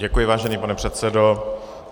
Děkuji, vážený pane předsedo.